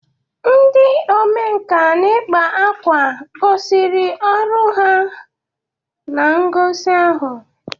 Ndị omenkà n'ị kpa ákwà gosiri ọrụ ha na ngosi ahụ.